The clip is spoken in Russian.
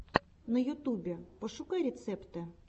на ютубе пошукай рецепты